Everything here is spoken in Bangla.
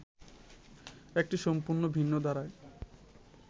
একটি সম্পূর্ণ ভিন্ন ধারার